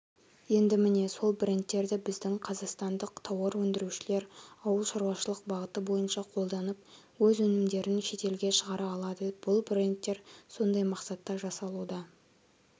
енді міне сол брендтердібіздің қазақстандық тауарөндірушілер ауыл шаруашылық бағыты бойынша қолданып өз өнімдерін шетелге шығара алады бұл брендтер сондай мақсатта жасалуда